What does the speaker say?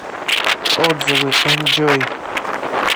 отзывы энджой